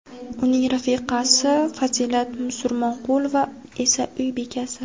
uning rafiqasi Fazilat Musurmonqulova esa uy bekasi.